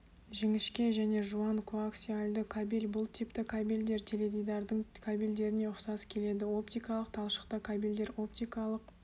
жіңішке және жуан коаксиальді кабель бұл типті кабельдер теледидардың кабельдеріне ұқсас келеді оптикалық талшықты кабельдер оптикалық